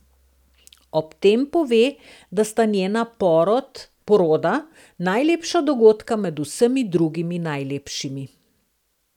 Ob tem pove, da sta njena poroda najlepša dogodka med vsemi drugimi najlepšimi.